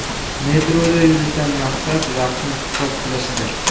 Metroda yurishdan maqsad vaqtni iqtisod qilishdir.